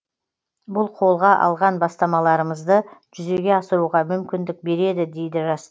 бұл қолға алған бастамаларымызды жүзеге асыруға мүмкіндік береді дейді жас